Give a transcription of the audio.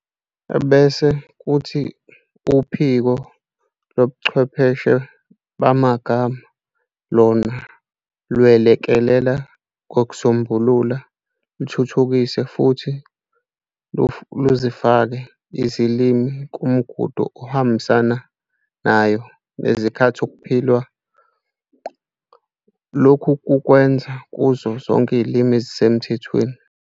Bese kuthi uphiko lobuchwepheshe bamagama lona lwelekelela ngokusombulula, luthuthukise futhi luzifake izilimi kumgudu ohambisanayo nezikhathi okuphilwa, lokhu lukwenza kuzo zonke izilimi ezisemthethweni.